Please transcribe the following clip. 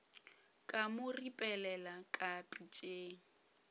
ka mo ripelela ka pitšeng